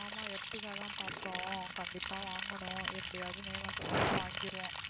ஆமா ertiga தன் பாத்தோம் கண்டிப்பா வாங்கணும் எப்டியாவது வேணுன்னு சொல்லி வாங்கிருவோம்.